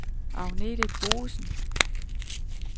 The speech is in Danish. Agnete Boesen